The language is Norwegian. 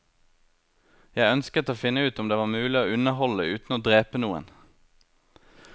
Jeg ønsket å finne ut om det var mulig å underholde uten å drepe noen.